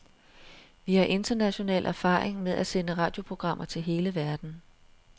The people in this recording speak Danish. Vi har international erfaring med at sende radioprogrammer til hele verden.